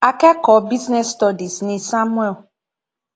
akẹkọọ business studies ni samuel